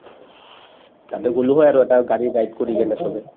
তাতে গলো হৈ আৰু গাড়ী drive কৰি কিনে চবে